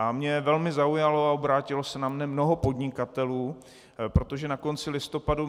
A mě velmi zaujalo, a obrátilo se na mě mnoho podnikatelů, protože na konci listopadu